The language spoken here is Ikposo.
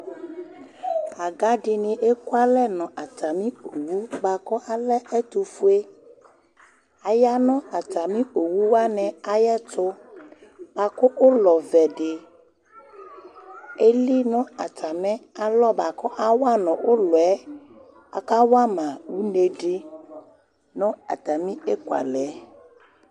Aga dini eku alɛ nu atami owu buaku alɛ ɛtufue Aya nu atami owu wani ayu ɛtu buaku ulɔ ɔvɛ di eli nu atami alɔ buaku awa nu ulɔ yɛ ɔkawa ma une di nu atami eku alɛ yɛ